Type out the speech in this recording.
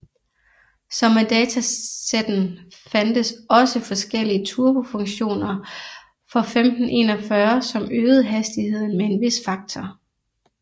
Som med datasetten fandtes også forskellige turbo funktioner for 1541 som øgede hastigheden med en vis faktor